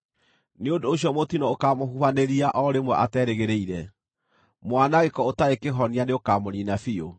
Nĩ ũndũ ũcio mũtino ũkaamũhubanĩria o rĩmwe aterĩgĩrĩire; mwanangĩko ũtarĩ kĩhonia nĩũkamũniina biũ.